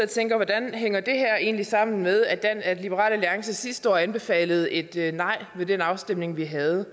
tænker hvordan hænger det her egentlig sammen med at liberal alliance sidste år anbefalede et nej ved den afstemning vi havde